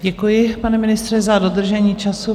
Děkuji, pane ministře, za dodržení času.